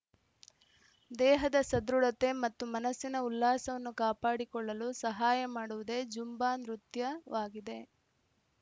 ದೇಹದ ಸದೃಢತೆ ಮತ್ತು ಮನಸ್ಸಿನ ಉಲ್ಲಾಸವನ್ನು ಕಾಪಾಡಿಕೊಳ್ಳಲು ಸಹಾಯ ಮಾಡುವುದೇ ಝುಂಬಾ ನೃತ್ಯವಾಗಿದೆ